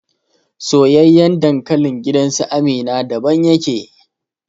Soyayyen dankalin gidansu Amina daban yake